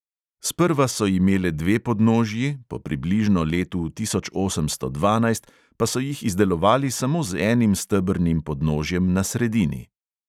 Sprva so imele dve podnožji, po približno letu tisoč osemsto dvanajst pa so jih izdelovali samo z enim stebrnim podnožjem na sredini.